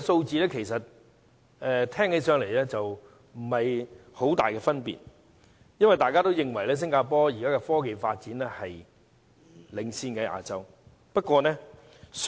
這排名聽起來不覺有太大分別，因為大家也認為新加坡的科技發展一直在亞洲領先。